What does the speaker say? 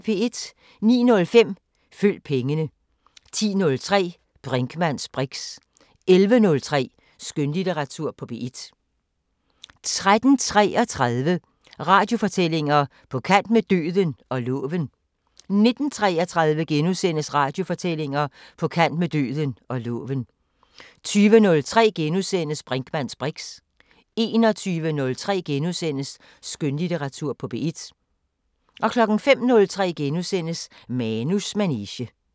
09:05: Følg pengene 10:03: Brinkmanns briks 11:03: Skønlitteratur på P1 13:33: Radiofortællinger: På kant med døden – og loven 19:33: Radiofortællinger: På kant med døden – og loven * 20:03: Brinkmanns briks * 21:03: Skønlitteratur på P1 * 05:03: Manus manege *